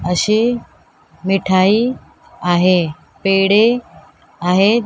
अशी मिठाई आहे पेढे आहेत.